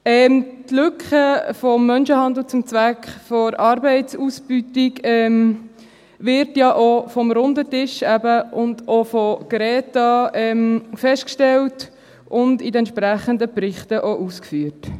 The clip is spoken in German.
Die Lücke des Menschenhandels zum Zweck der Arbeitsausbeutung wird ja auch vom Runden Tisch und von der Group of Experts on Action against Trafficking in Human Beings (GRETA) festgestellt und in den entsprechenden Berichten auch ausgeführt.